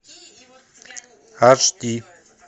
аш ди